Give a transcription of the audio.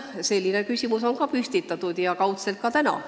Selline küsimus on kaudselt püstitatud ka täna.